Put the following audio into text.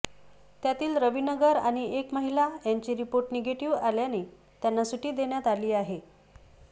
त्यातील रविनगर आणि एक महिला यांचे रिपोर्ट निगेटिव्ह आल्याने त्यांना सुटी देण्यात आली आहे